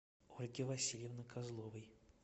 ольги васильевны козловой